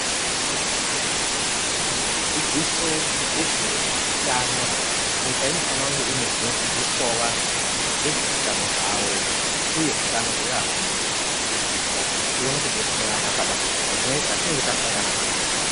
Dzidziso yezveutano, nyika unofana kunge ine kunodzidziswawo vantu nezveutano hwavo uye hutano hweanweni kuitira kuti tione kudetserana padambudziko rinenge ratinenge tasangana naro.